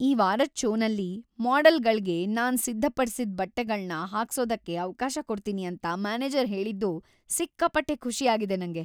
ಈ ವಾರದ್ ಷೋನಲ್ಲಿ ಮಾಡೆಲ್‌ಗಳ್ಗೆ ನಾನ್‌ ಸಿದ್ಧಪಡ್ಸಿದ್‌ ಬಟ್ಟೆಗಳ್ನ ಹಾಕ್ಸೋದಕ್ಕೆ ಅವ್ಕಾಶ ಕೊಡ್ತೀನಿ ಅಂತ ಮ್ಯಾನೇಜರ್ ಹೇಳಿದ್ದು ಸಿಕ್ಕಾಪಟ್ಟೆ ಖುಷಿ ಆಗಿದೆ ನಂಗೆ.